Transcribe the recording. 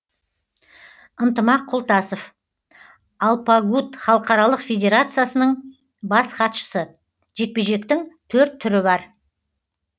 ынтымақ құлтасов алпагут халықаралық федерациясының бас хатшысы жекпе жектің төрт түрі бар